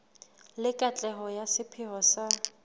le katleho ya sepheo sa